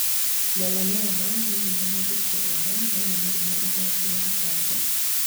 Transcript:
Melanoma nĩ hinya mũndũ kĩrwara no nĩ mũrimũ ugwati wa kanja